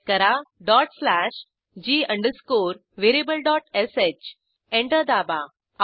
type करा dot slash g अंडरस्कोरvariablesh enter दाबा